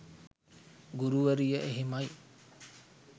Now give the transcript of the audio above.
ගුරුවරිය එහෙමයි